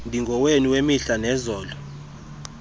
ndingowenu wemihla nezolo